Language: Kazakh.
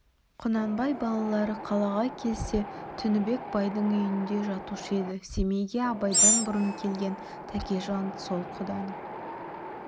құнанбай балалары қалаға келсе тінібек байдың үйінде жатушы еді семейге абайдан бұрын келген тәкежан сол құданың